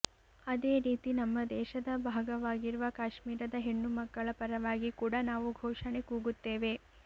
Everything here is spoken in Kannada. ಅದೇ ರೀತಿ ನಮ್ಮ ದೇಶದ ಭಾಗವಾಗಿರುವ ಕಾಶ್ಮೀರದ ಹೆಣ್ಣು ಮಕ್ಕಳ ಪರವಾಗಿ ಕೂಡ ನಾವು ಘೋಷಣೆ ಕೂಗುತ್ತೇವೆ